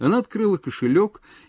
она открыла кошелёк